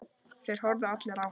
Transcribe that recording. Þeir horfðu allir á hana.